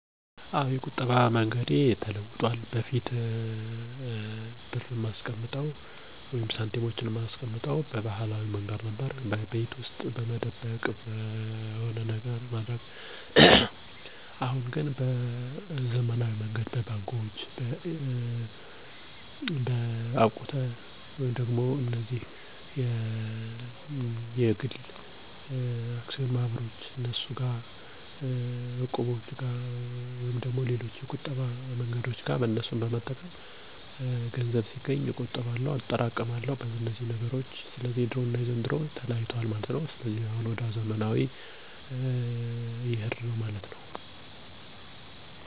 የቁጠባ ልማዶቼ ከጊዜ በኋላ ተለውጠዋል። ከለወጡት ምክንያቶች የመጀመሪያው ገቢዬ በመጨመሩ የተለያዩ የቁጠባ አማራጮችን እንዳይ አድርጎኛል፤ ሁለተኛው ደግሞ በጊዜ ሂደት የማላውቃቸው የነበሩ የቁጠባ መንገዶችን በማወቄ የቁጠባ ልምዴ እንደለወጥ አድርጓል።